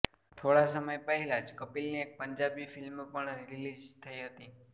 થોડા સમય પહેલા જ કપિલની એક પંજાબી ફિલ્મ પણ રિલીઝ થઈ હતી